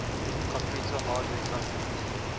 computer hardware companies